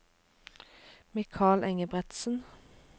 Mikael Engebretsen